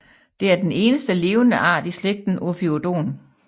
Det er den eneste levende art i slægten Ophiodon